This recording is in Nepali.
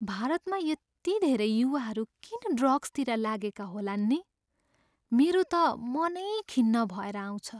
भारतमा यति धेरै युवाहरू किन ड्रग्सतिर लागेका होलान् नि? मेरो त मनै खिन्न भएर आउँछ।